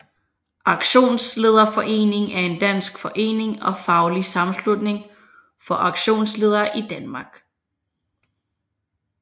Auktionslederforeningen er en dansk forening og faglig sammenslutning for auktionsledere i Danmark